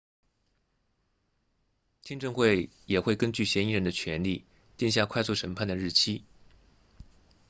听证会也会根据嫌疑人的权利定下快速审判的日期